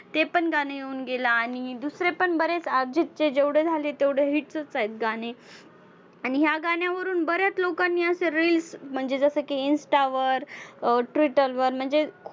ते पण गाणं येऊन गेलं. आणि दुसरे पण बरेच अर्जितचे जेवढे झाले तेवढे hit च आहेत गाणे. आणि ह्या गाण्यावरून बऱ्याच लोकांनी असं reels म्हणजे जसं की insta वर अं twitter वर म्हणजे